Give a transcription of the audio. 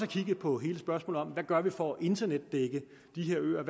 kigget på hele spørgsmålet om hvad vi gør for at internetdække de her øer og